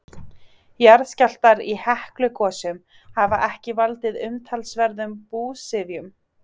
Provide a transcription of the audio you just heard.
jarðskjálftar í heklugosum hafa ekki valdið umtalsverðum búsifjum